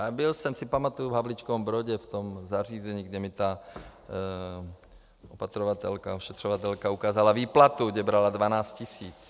A byl jsem, si pamatuji, v Havlíčkově Brodě v tom zařízení, kde mi ta opatrovatelka, ošetřovatelka ukázala výplatu, kde brala 12 tisíc.